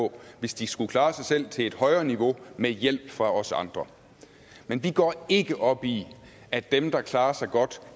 på hvis de skulle klare sig selv til et højere niveau med hjælp fra os andre men vi går ikke op i at dem der klarer sig godt